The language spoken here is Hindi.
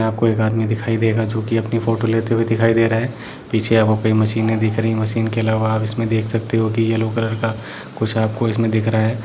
आपको एक आदमी दिखाई देगा जो अपनी फोटो लेते हुए दिखाई दे रहा है पीछे आपके मशीने दिख रही है मशीने के अलावा आप देख सकते हो येलो कलर का कुछ दिख रहा है|